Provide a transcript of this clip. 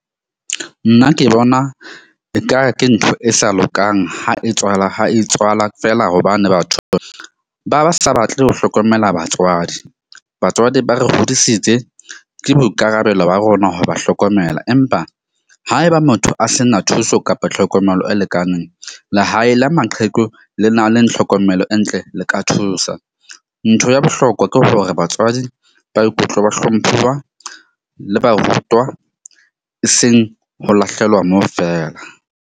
Nna ke bona ekare ke ntho e sa lokang ha e tswala ha e tswala fela. Hobane batho ba ba sa batle ho hlokomela batswadi. Batswadi ba re hodisitse ke boikarabelo ba rona ho ba hlokomela. Empa haeba motho a se na thuso kapa tlhokomelo e lekaneng, lehae la maqheku le na leng tlhokomelo e ntle le ka thusa. Ntho ya bohlokwa ke hore batswadi ba ikutlwa ba hlomphuwa le ba rutwa, e seng ho lahlelwa moo feela.